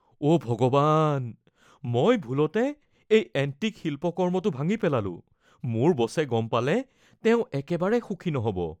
অ’ ভগৱান, মই ভুলতে এই এণ্টিক শিল্পকৰ্মটো ভাঙি পেলালোঁ৷ মোৰ বছে গম পালে, তেওঁ একেবাৰে সুখী হ’ব নহ'ব।